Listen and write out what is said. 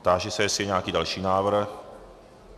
Táži se, jestli je nějaký další návrh.